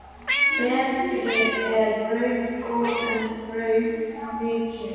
Betri er raun góð en raup mikið.